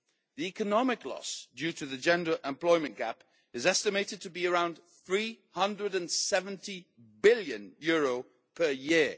The economic loss due to the gender employment gap is estimated to be around EUR 370 billion per year.